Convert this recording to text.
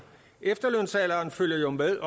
efterlønsalderen følger jo med